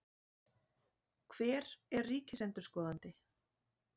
Hver er ríkisendurskoðandi?